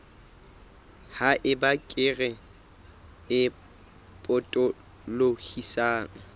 ha eba kere e potolohisang